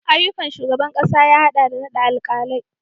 Ayyukan shugaban kasa ya hada da naɗa alkalai